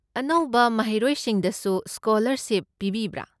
ꯑꯅꯧꯕ ꯃꯍꯩꯔꯣꯏꯁꯤꯡꯗꯁꯨ ꯁ꯭ꯀꯣꯂꯔꯁꯤꯞ ꯄꯤꯕꯤꯕ꯭ꯔꯥ?